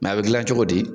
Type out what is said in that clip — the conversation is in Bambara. a bɛ gilan cogo di